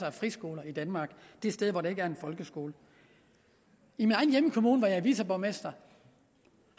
af friskoler i danmark de steder hvor der ikke er en folkeskole i min egen hjemkommune hvor jeg er viceborgmester